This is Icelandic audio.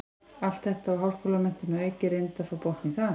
Allt þetta og háskólamenntun að auki, reyndu að fá botn í það.